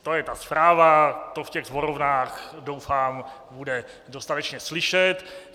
To je ta zpráva, to v těch sborovnách doufám bude dostatečně slyšet.